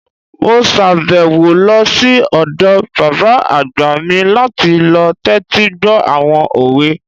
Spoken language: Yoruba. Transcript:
Mo sàbẹ̀wò lọ sí ọ̀dọ̀ bàbá àgbà mi láti lọ tẹ́tí gbọ́ àwọn òwe